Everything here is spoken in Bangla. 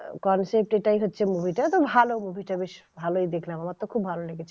concept এটাই হচ্ছে movie টার তো ভালো movie টা বেশ ভালোই দেখলাম আমার তো খুব ভালো লেগেছে